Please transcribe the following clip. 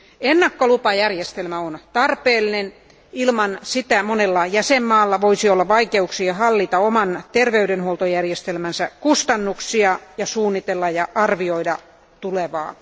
Ennakkolupajärjestelmä on tarpeen, ilman sitä monella jäsenvaltiolla voisi olla vaikeuksia hallita oman terveydenhuoltojärjestelmänsä kustannuksia sekä suunnitella ja arvioida tulevaa.